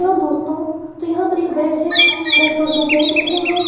Hello दोस्तों तो यहाँ पे एक बेड हैं बेड पर दो बैग रखें हैं।